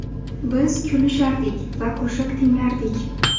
Biz kulishardik va qo‘shiq tinglardik.